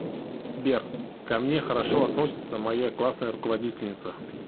сбер ко мне хорошо относится моя классная руководительница